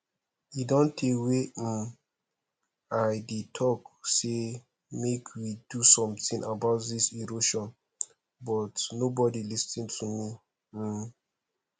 e don tey wey um i dey talk say make we do something about dis erosion but nobody lis ten to me um